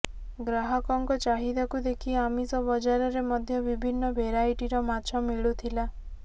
ଗ୍ରାହକଙ୍କ ଚାହିଦାକୁ ଦେଖି ଆମିଷ ବଜାରରେ ମଧ୍ୟ ବିଭିନ୍ନ ଭେରାଇଟିର ମାଛ ମିଳୁଥିଲା